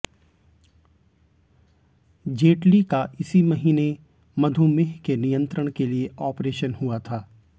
जेटली का इसी महीने मधुमेह के नियंत्रण के लिए ऑपरेशन हुआ था